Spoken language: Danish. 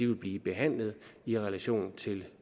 vil blive behandlet i relation til